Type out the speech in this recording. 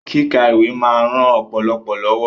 Kíka ìwé máa ń ran ọpọlọ lọ́wọ́